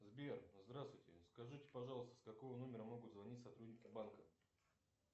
сбер здравствуйте скажите пожалуйста с какого номера могут звонить сотрудники банка